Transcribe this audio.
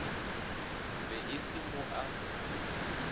be e se mo a